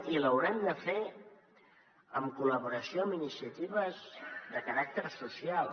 i l’haurem de fer en col·laboració amb iniciatives de caràcter social